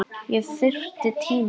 Ég þyrfti tíma.